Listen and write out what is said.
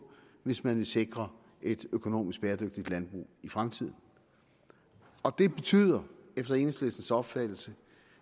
hvis man vil sikre et økonomisk bæredygtigt landbrug i fremtiden det betyder efter enhedslistens opfattelse